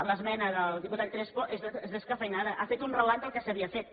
l’esmena del diputat crespo és descafeïnada ha fet un relat del que s’havia fet